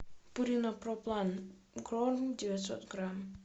пурина проплан корм девятьсот грамм